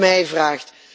als u het mij vraagt.